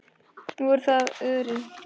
Nú er það Örið.